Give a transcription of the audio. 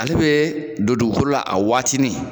Ale bɛ don dugukolola a waatinin.